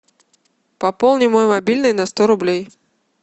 пополни мой мобильный на сто рублей